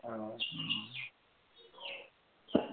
অ